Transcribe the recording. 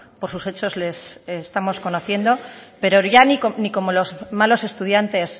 por sus hechos les estamos conociendo pero ya ni como los malos estudiantes